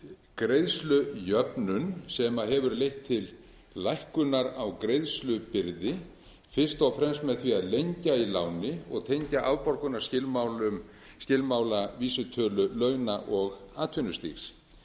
greiðslujöfnun sem hefur leitt til lækkunar á greiðslubyrði fyrst og fremst með því að lengja í láni og tengja afborgunarskilmála vísitölu launa og atvinnustigs